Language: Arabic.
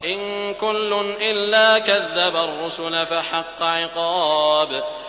إِن كُلٌّ إِلَّا كَذَّبَ الرُّسُلَ فَحَقَّ عِقَابِ